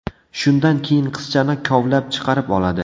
Shundan keyin qizchani kovlab chiqarib oladi.